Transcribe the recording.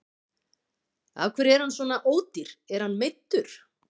Af hverju er hann svona ódýr, er hann meiddur?